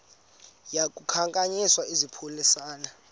yaku khankanya izaphuselana